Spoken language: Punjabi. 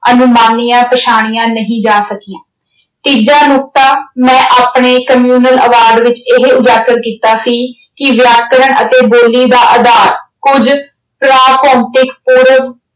ਅਨੁਮਾਨੀਆਂ ਪਛਾਣੀਆਂ ਨਹੀਂ ਜਾ ਸਕੀਆਂ। ਤੀਜਾ ਨੁਕਤਾ ਮੈਂ ਆਪਣੇ communal ਆਵਾਜ਼ ਵਿੱਚ ਇਹ ਉਜਾਗਰ ਕੀਤਾ ਸੀ ਕਿ ਵਿਆਕਰਣ ਅਤੇ ਬੋਲੀ ਦਾ ਆਧਾਰ ਕੁੱਝ ਭੌਤਿਕ ਪੂਰਵ